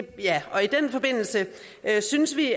og i den forbindelse synes vi